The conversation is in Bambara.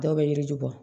Dɔw bɛ yiri ju bɔ